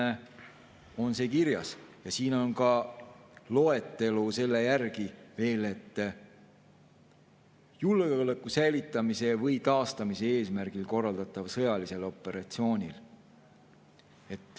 Siin on see kirjas ja siin on ka loetelu selle järel veel, et julgeoleku säilitamise või taastamise eesmärgil korraldataval sõjalisel operatsioonil.